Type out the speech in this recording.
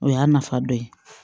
O y'a nafa dɔ ye